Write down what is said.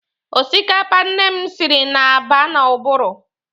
Osikapa nne m siri na-aba n'ụbụrụ.